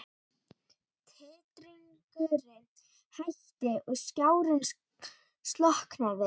Titringurinn hætti og skjárinn slokknaði.